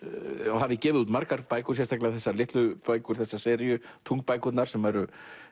hafið gefið út margar bækur sérstaklega þessar litlu bækur þessa seríu Tunglbækurnar sem eru